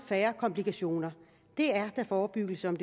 færre komplikationer det er da forebyggelse om